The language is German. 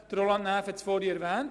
Roland Näf hat sie erwähnt.